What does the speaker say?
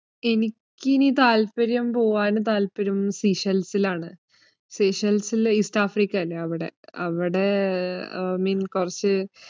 എനിക്കിനി താല്പര്യം, പോവാന് താല്പര്യം സീഷെൽസിലാണ്, സീഷെൽസില് ഈസ്റ്റ് ആഫ്രിക്കയില്ലേ അവിടെ, അവിടെ അഹ് mean കൊറച്